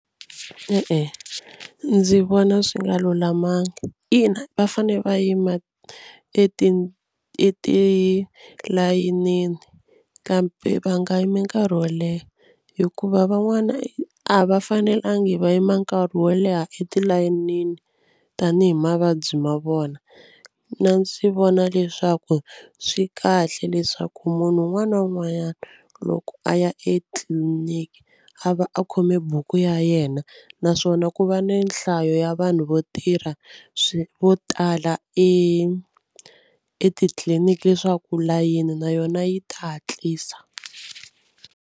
E-e ndzi vona swi nga lulamanga ina va fane va yima etilayenini kambe va nga yimi nkarhi wo leha hikuva van'wana a va fanelangi va yima nkarhi wo leha etilayenini tanihi mavabyi ma vona. Na ndzi vona leswaku swi kahle leswaku munhu un'wana na un'wanyana loko a ya etliliniki a va a khome buku ya yena yena naswona ku va ni nhlayo ya vanhu vo tirha vo tala i etitliliniki leswaku layini na yona yi ta hatlisa.